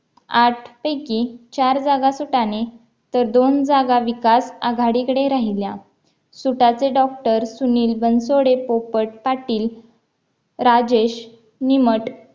आठ पैकी चार जागा सुताने तर दोन जागा विकास आघाडीकडे राहिल्या सुताचे डॉक्टर सुनील बनसोडे पोपट पाटील राजेश निमट